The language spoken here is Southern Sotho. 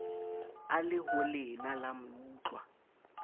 a le holena la meutlwa